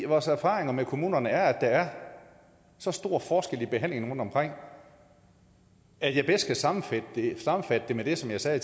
vores erfaringer med kommunerne er at der er så stor forskel i behandlingen rundtomkring at jeg bedst kan sammenfatte det med det som jeg sagde